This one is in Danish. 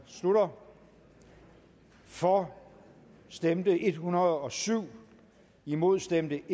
slutter for stemte en hundrede og syv imod stemte